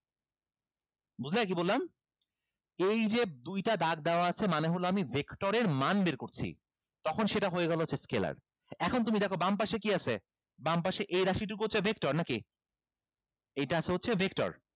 বুঝলে কি বললাম এইযে দুইটা দাগ দেওয়া আছে মানে হলো আমি vector এর মান বের করছি তখন সেটা হয়ে গেলো হচ্ছে scalar এখন তুমি দেখো বামপাশে কি আছে বামপাশে এই রাশিটুকু হচ্ছে vector নাকি এইটা আছে হচ্ছে vector